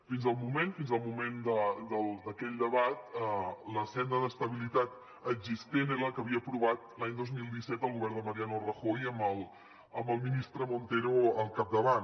fins al moment fins al moment d’aquell debat la senda d’estabilitat existent era la que havia aprovat l’any dos mil disset el govern de mariano rajoy amb el ministre montero al capdavant